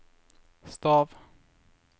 stav